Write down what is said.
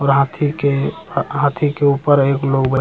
और हाथी के हा-हाथी के ऊपर एक लोग बै --